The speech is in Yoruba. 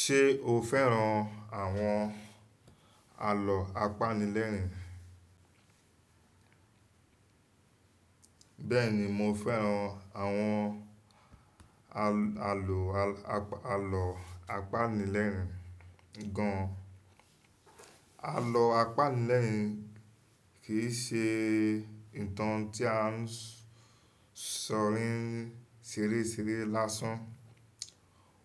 Ṣé o fẹ́ràn àwọn àlọ apanilẹ́rin? Bẹ́ẹ̀ni mo fẹ́ràn àwọn al-àlò-al-àlọ́ apanilẹ́rin gan. Àlọ́ apanilẹ́rin kì í ṣe ìtàn tí a ń sọ̀rí n ṣeré ṣeré lásán.